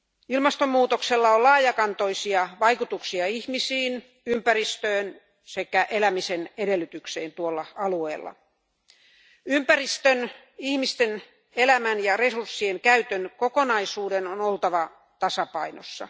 Ilmastonmuutoksella on laajakantoisia vaikutuksia ihmisiin, ympäristöön sekä elämisen edellytykseen tuolla alueella. Ympäristön, ihmisten elämän ja resurssien käytön kokonaisuuden on oltava tasapainossa.